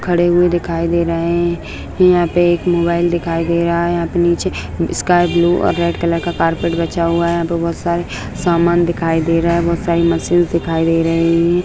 खड़े हुए दिखाई दे रहे है यहाँ पे एक मोबाइल दिखाई दे रहा है यहाँ पे नीचे स्काई ब्लू और रेड कलर का कारपेट बिछा हुआ है यहाँ पे बहुत सारे सामान दिखाई दे रहे है बहुत सारी मशीन्स दिखाई दे रही है।